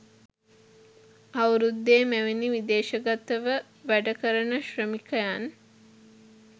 අවුරුද්දේ මෙවැනි විදේශගතව වැඩ කරන ශ්‍රමිකයන්